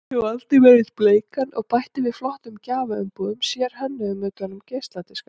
Ég valdi mér einn bleikan og bætti við flottum gjafaumbúðum, sérhönnuðum utan um geisladiska.